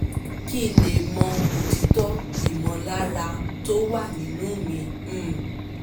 kí n lè mọ otító ìmọ̀lára tó wà nínú mi um